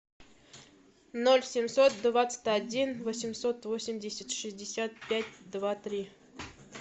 ноль семьсот двадцать один восемьсот восемьдесят шестьдесят пять два три